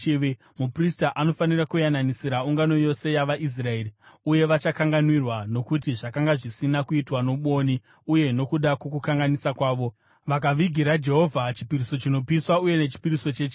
Muprista anofanira kuyananisira ungano yose yavaIsraeri, uye vachakanganwirwa, nokuti zvakanga zvisina kuitwa nobwoni, uye, nokuda kwokukanganisa kwavo, vakavigira Jehovha chipiriso chinopiswa uye nechipiriso chechivi.